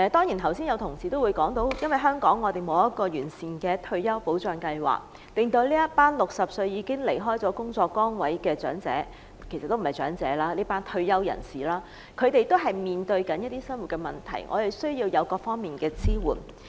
剛才有同事說，因為香港沒有完善的退休保障計劃，令60歲已經離開工作崗位的長者——其實他們不是長者——這群退休人士面對一些生活問題，需要各方面的支援。